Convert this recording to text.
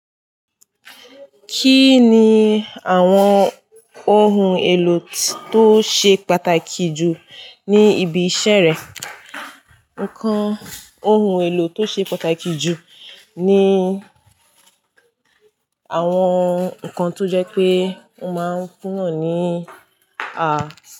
Kí ni àwọn ohun èlò tó ṣe pàtàkì jù ní ibi iṣẹ́ rẹ? Ǹkan ohun èlò tó ṣe pàtàkì jù ni àwọn nǹkan tó jẹ́ pé wọ́n máa ń fún yàn ní à.